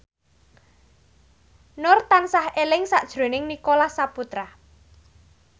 Nur tansah eling sakjroning Nicholas Saputra